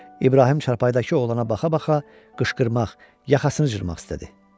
İbrahim çarpayıdakı oğlana baxa-baxa qışqırmaq, yaxasını cırmaq istədi.